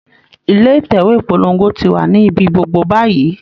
ilé Ìtẹ̀wé ìpolongo ti wà ní ibi gbogbo báyìí